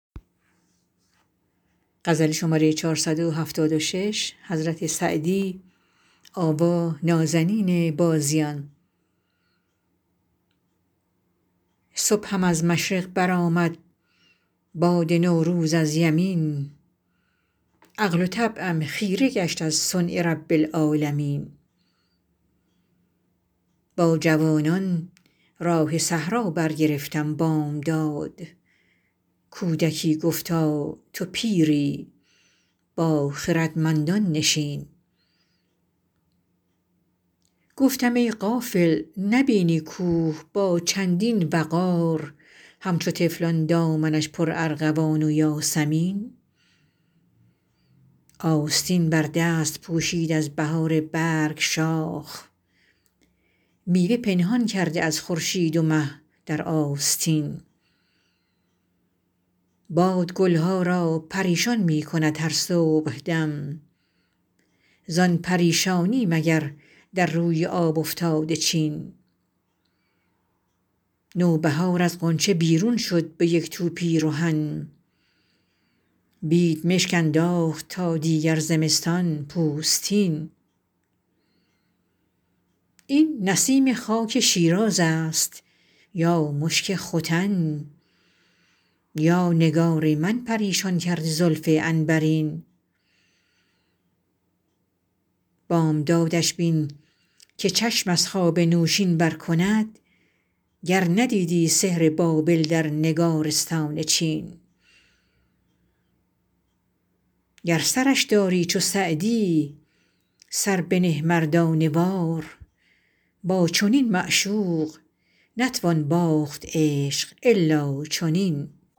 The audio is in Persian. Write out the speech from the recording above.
صبحم از مشرق برآمد باد نوروز از یمین عقل و طبعم خیره گشت از صنع رب العالمین با جوانان راه صحرا برگرفتم بامداد کودکی گفتا تو پیری با خردمندان نشین گفتم ای غافل نبینی کوه با چندین وقار همچو طفلان دامنش پرارغوان و یاسمین آستین بر دست پوشید از بهار برگ شاخ میوه پنهان کرده از خورشید و مه در آستین باد گل ها را پریشان می کند هر صبحدم زان پریشانی مگر در روی آب افتاده چین نوبهار از غنچه بیرون شد به یک تو پیرهن بیدمشک انداخت تا دیگر زمستان پوستین این نسیم خاک شیراز است یا مشک ختن یا نگار من پریشان کرده زلف عنبرین بامدادش بین که چشم از خواب نوشین بر کند گر ندیدی سحر بابل در نگارستان چین گر سرش داری چو سعدی سر بنه مردانه وار با چنین معشوق نتوان باخت عشق الا چنین